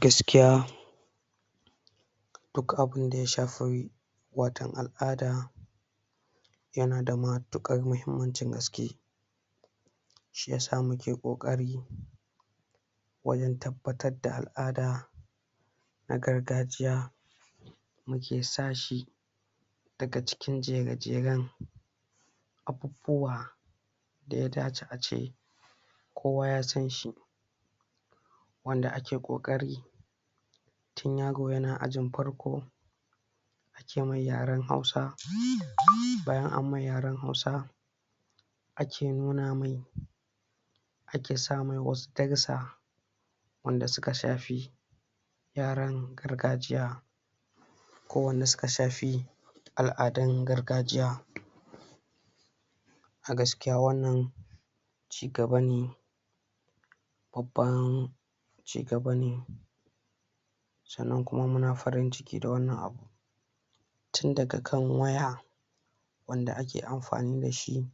Gaskiya duk abin da ya shafi waton al'ada yana da matuƙar muhimmancin gaske shi yasa muke ƙoƙari wajen tabbatar da al'ada na gargajiya muke sa shi daga cikin jere-jeren abubuwa da ya dace ace kowa ya san shi wanda ake ƙoƙari tun yaro yana ajin farko ake mai yaren Hausa bayan an mai yaren Hausa ake nuna mai ake sa mai wasu darussa wanda suka shafi yaren gargajiya ko wanda suka shafi al'adun gargajiya a gaskiya wannan cigaba ne babban cigaba ne sannan kuma muna farin-ciki da wannan abu tun daga kan waya wanda ake amfani da shi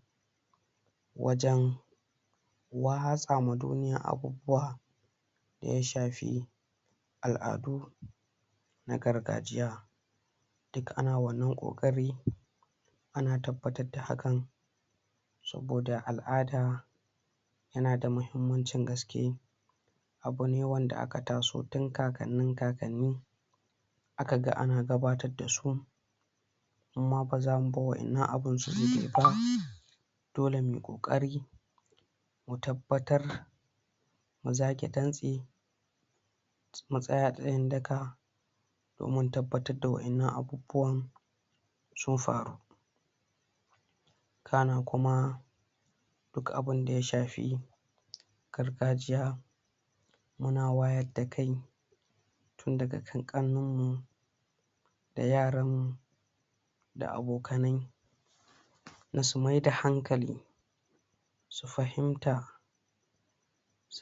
wajen watsa ma duniya abubuwa da ya shafi al'adu na gargajiya duk ana wannan ƙoƙari ana tabbatar da hakan ko da al'ada yana da mahimmancin gaske abu ne wanda aka taso tun kakannin-kakanni aka ga ana gabatar da su mu ma ba za mu bar waɗannan abin su? dole mu yi ƙoƙari mu tabbatar mu zage dantse mu tsaya tsayin-daka domin tabbatar da waɗannan abu buwan sun faru kana kuma duk abin da ya shafi gargajiya muna wayar da kai tun daga kan ƙannanmu da yaranmu da abokanai na su mayar da hankali su fahimta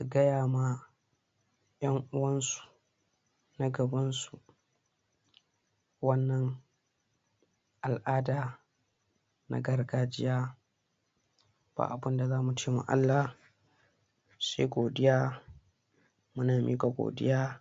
a gaya ma ƴan uwansu na gabansu wannan al'ada na gargajiya ba abin da za mu ce ma Allah sai godiya muna miƙa godiya